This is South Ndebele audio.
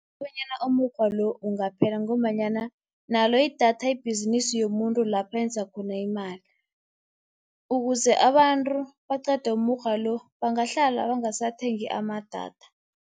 kobanyana umukghwa lo ungaphela ngombanyana nalo idatha ibhizinisi yomuntu lapha enza khona imali. Ukuze abantu baqede umukghwa lo, bangahlala bangasathengi amadatha.